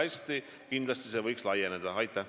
Kui läheb hästi, siis võiks see teenus kindlasti laieneda.